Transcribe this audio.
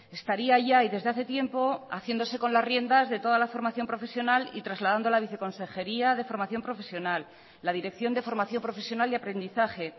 estaría ya y desde hace tiempo haciéndose con las riendas de toda la formación profesional y trasladando la viceconsejería de formación profesional la dirección de formación profesional y aprendizaje